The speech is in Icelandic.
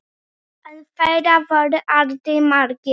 En þeir voru aldrei margir.